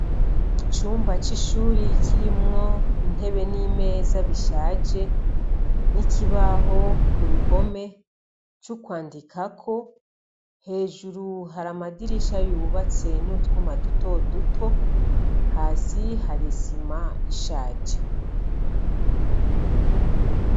Icumba c'ishuri kirimwo intebe n'imeza bishaje n'ikibaho ku ruhome c'ukwandikako. Hejuru hari amadisha yubatswe n'utwuma dutoduto, hasi hari isima ishaje.